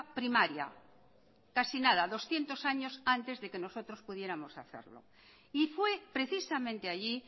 primaria casi nada doscientos años antes de que nosotros pudiéramos hacerlo y fue precisamente allí